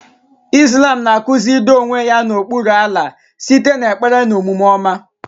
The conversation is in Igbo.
Islam na-akụzi ido onwe ya n'okpuru Allah site n'ekpere na omume ọma.